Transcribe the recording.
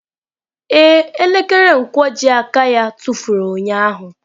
Ee, elekere nkwojiaka ya tụfuru ụnyahụ.